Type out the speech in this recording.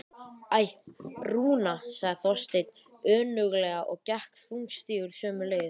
Æ, Rúna sagði Þorsteinn önuglega og gekk þungstígur sömu leið.